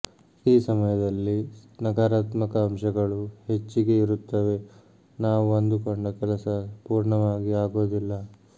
ಈ ಸಮಯದಲ್ಲಿ ನಕಾರಾತ್ಮಕ ಅಂಶಗಳು ಹೆಚ್ಚಿಗೆ ಇರುತ್ತವೆ ನಾವು ಅಂದುಕೊಂಡ ಕೆಲಸ ಪೂರ್ಣವಾಗಿ ಆಗೋದಿಲ್ಲ